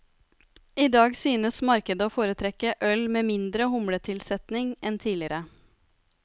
I dag synes markedet å foretrekke øl med mindre humletilsetning enn tidligere.